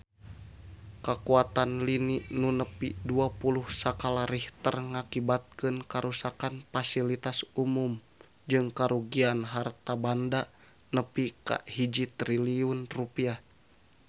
Kakuatan lini nu nepi dua puluh skala Richter ngakibatkeun karuksakan pasilitas umum jeung karugian harta banda nepi ka 1 triliun rupiah